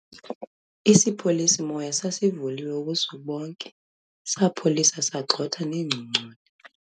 isipholisi-moya sasivulwe ubusuku bonke, sapholisa, sagxotha neengongconi